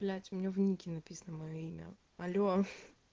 блять у меня в нике написано моё имя аллё